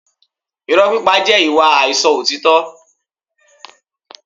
Irọ́ pípa jẹ́ ìwà àìsọ òtítọ́